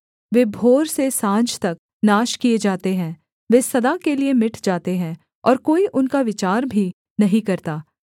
वे भोर से साँझ तक नाश किए जाते हैं वे सदा के लिये मिट जाते हैं और कोई उनका विचार भी नहीं करता